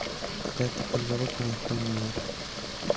какая-то подзалупная хуйня